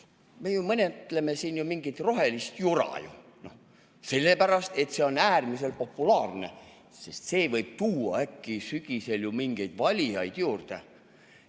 Me ju menetleme siin mingit rohelist jura, sellepärast et see on äärmiselt populaarne, sest see võib tuua äkki sügisel mingeid valijaid juurde.